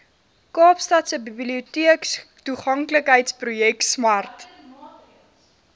kaapstadse biblioteektoeganklikheidsprojek smart